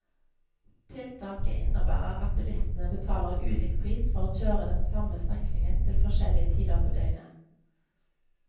Tiltaket innebærer at bilistene betaler ulik pris for å kjøre den samme strekningen til forskjellige tider på døgnet.